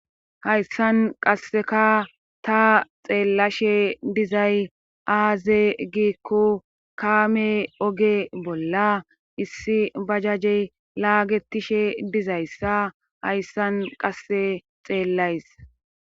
hayssan qasseka ta xeellashe dizay aaze giikko kaame oge bolla issi bajajey laagetishe dizayssa hayssan qasse xeellays